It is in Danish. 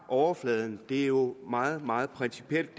overfladen det her er jo meget meget principielt